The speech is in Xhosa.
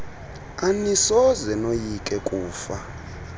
anisoze noyike kufa